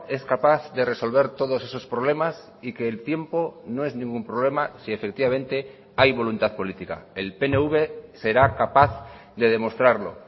es capaz de resolver todos esos problemas y que el tiempo no es ningún problema si efectivamente hay voluntad política el pnv será capaz de demostrarlo